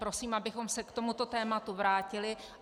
Prosím, abychom se k tomuto tématu vrátili.